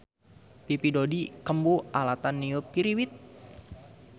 Pipi Dodi kembu alatan niup piriwit